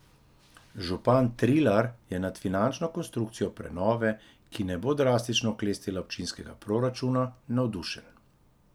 Župan Trilar je nad finančno konstrukcijo prenove, ki ne bo drastično oklestila občinskega proračuna, navdušen.